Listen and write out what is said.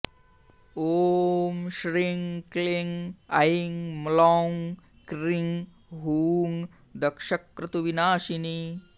ॐ श्रीं क्लीं ऐं म्लौं क्रीं हूं दक्षक्रतुविनाशिनी